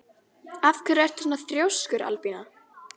Af hverju ertu svona þrjóskur, Albína?